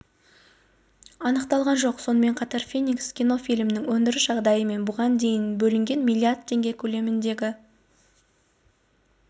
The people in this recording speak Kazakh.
анықталған жоқ сонымен қатар феникс кино фильмінің өндіріс жағдайы мен бұған дейін бөлінген миллиард теңге көлеміндегі